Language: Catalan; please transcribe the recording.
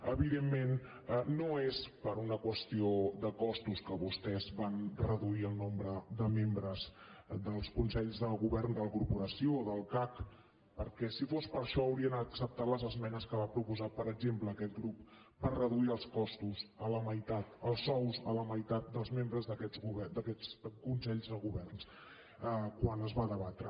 evidentment no és per una qüestió de costos que vostès van reduir el nombre de membres dels consells de govern de la corporació o del cac perquè si fos per això haurien acceptat les esmenes que va proposar per exemple aquest grup per reduir els costos a la meitat els sous a la meitat dels membres d’aquests consells de govern quan es va debatre